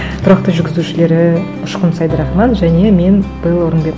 тұрақты жүргізушілері ұшқын сәйдірахман және мен белла орынбет